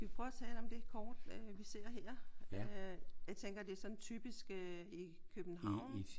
Skal vi prøve at tale om det kort øh vi ser her? Jeg tænker det er sådan typisk i København